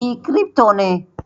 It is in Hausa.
E, kirifto ne